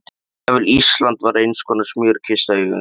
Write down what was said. Jafnvel Ísland var einskonar smjörkista í augum þeirra.